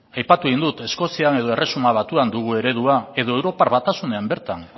aipatu egin dut eskozian edo erresuma batuan dugun eredua edo europar batasunean bertan